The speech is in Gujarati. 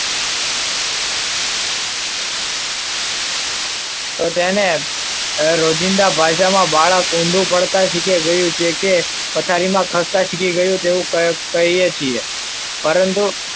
તો તેને રોજિંદા ભાષામાં બાળક ઊંધું પડતા શીખે જોયું છે કે પથારીમાં ખસતા શીખે શીખી ગયું એવું કહીએ છીએ. પરંતુ,